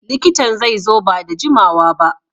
Likitan zai zo ba da jimawa ba.